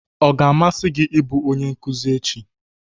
Ọ ga-amasị gị ịbụ onye nkuzi echi?